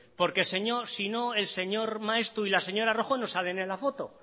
porque sino el señor maeztu y la señora rojo no salen en la foto